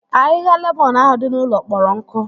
Ahịhịa lemọn ahụ dị n'ụlọ kpọrọ nkụ